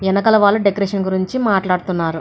ఎనకల వాళ్ళు డెకరేషన్ గురించి మాట్లాడుతున్నారు.